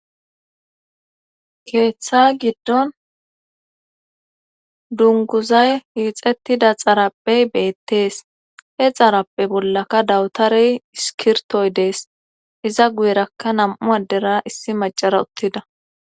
Keeththa giddon dunguzay iixettida xarapey beettees he xarappe bollaka dawutarey iskirtoy dees iza guyerakka nam7u addera issi macara uttida.